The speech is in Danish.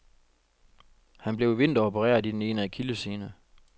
Han blev i vinter opereret i den ene akillessene.